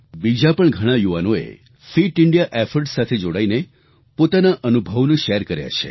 બીજા પણ ઘણાં યુવાનોએ પણ ફિટ ઇન્ડિયા ઇફોર્ટ્સ સાથે જોડાઈને પોતાના અનુભવોને શેર કર્યા છે